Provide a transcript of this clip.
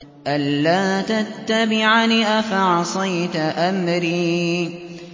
أَلَّا تَتَّبِعَنِ ۖ أَفَعَصَيْتَ أَمْرِي